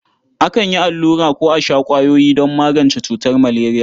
Akan yi allura ko a sha ƙwayoyi don magance cutar maleriya.